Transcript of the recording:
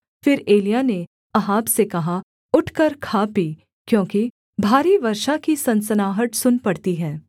फिर एलिय्याह ने अहाब से कहा उठकर खा पी क्योंकि भारी वर्षा की सनसनाहट सुन पड़ती है